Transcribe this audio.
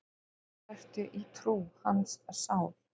Þar ertu í trú, hans sál.